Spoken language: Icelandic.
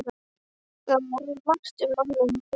Það var margt um manninn í kirkjunni.